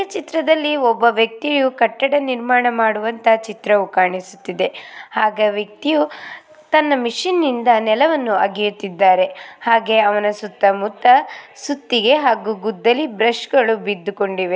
ಈ ಚಿತ್ರದಲ್ಲಿ ಒಬ್ಬ ವ್ಯಕ್ತಿಯು ಕಟ್ಟಡ ನಿರ್ಮಾಣ ಮಾಡುವಂತ ಚಿತ್ರವು ಕಾಣಿಸುತ್ತಾ ಇದೆ ಆಗಿ ವ್ಯಕ್ತಿಯು ತನ್ನ ಮಿಷಿನ್ ಇಂದ ನೆಲವನ್ನು ಅಗೆಯುತ್ತಿದ್ದಾನೆ ಹಾಗೆ ಅವನ ಸುತ್ತಾ ಮುತ್ತಾ ಸುತ್ತಿಗೆ ಹಾಗೂ ಗುದ್ದಲಿ ಬ್ರಷ್ಗಳು ಬಿದ್ದುಕೊಂಡಿವೆ.